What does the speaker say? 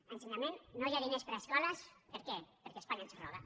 a ensenyament no hi ha diners per a escoles per què perquè espanya ens roba